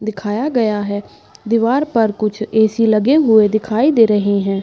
दिखाया गया है। दीवार पर कुछ ए.सी. लगे हुए दिखाई दे रहे हैं।